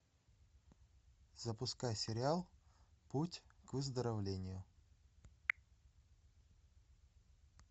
запускай сериал путь к выздоровлению